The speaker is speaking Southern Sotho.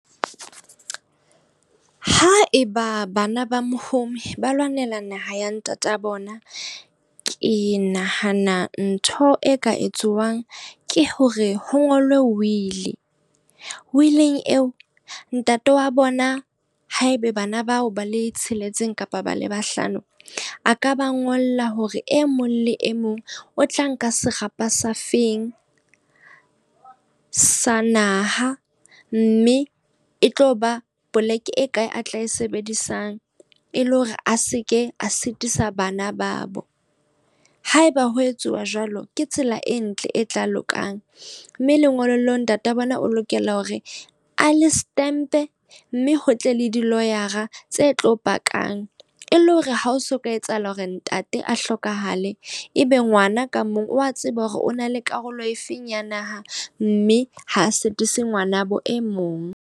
Ha eba bana ba mohumi ba lwanela naha ya ntata bona. Ke nahana ntho e ka etsuwang ke hore ho ngolwe will. Will-ing eo, ntate wa bona haebe bana bao ba le tsheletseng kapa ba le bahlano. A ka ba ngolla hore e mong le e mong o tla nka serapa sa feng sa naha, mme e tlo ba poleke e kae a tla e sebedisang e le hore a seke a sitisa bana ba bo. Haeba ho etsuwa jwalo, ke tsela e ntle e tla lokang. Mme lengolo leo ntate wa bona o lokela hore a le stempe mme ho tle le di-lawyer a tse tlo pakang e le hore ha o so ka etsahala hore ntate a hlokahale. E be ngwana ka mong o wa tseba hore o na le karolo e feng ya naha. Mme ha sitisi ngwanabo e mong.